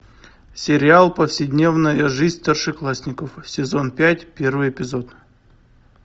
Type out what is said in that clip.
сериал повседневная жизнь старшеклассников сезон пять первый эпизод